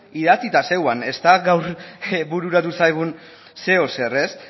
idatzita zegoen ez da gaur bururatu zaigun zeozer